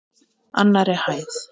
Annarri hæð.